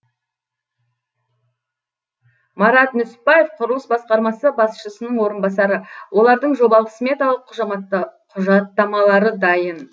марат нүсіпбаев құрылыс басқармасы басшысының орынбасары олардың жобалық сметалық құжаттамалары дайын